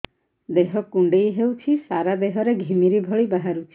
ଦେହ କୁଣ୍ଡେଇ ହେଉଛି ସାରା ଦେହ ରେ ଘିମିରି ଭଳି ବାହାରୁଛି